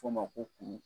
F'o ma ko kuru